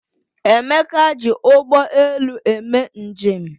Emeka ji ụgbọ elu eme njem